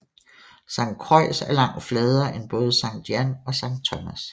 Saint Croix er langt fladere end både Sankt Jan og Sankt Thomas